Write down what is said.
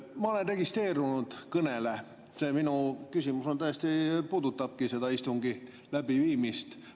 Ma olen registreerinud kõne ja minu küsimus puudutabki istungi läbiviimist.